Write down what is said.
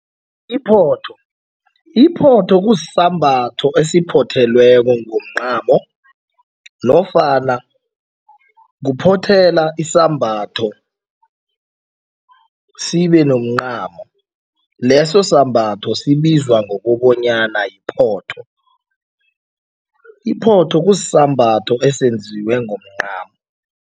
Iphotho, iphotho kusisembatho esiphothelweko ngomncamo nofana kuphothela isambatho sibenomncamo, leso sambatho sibizwa ngokobanyana yiphotho. Iphotho kusisambatho esenziwe ngomncamo.